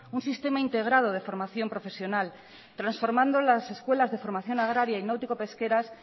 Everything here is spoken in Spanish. un sistema integrado de formación profesional transformando las escuelas de formación agraria y náutico pesqueras